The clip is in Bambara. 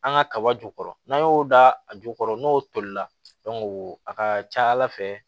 An ka kaba jukɔrɔ n'an y'o da a jukɔrɔ n'o tolila a ka ca ala fɛ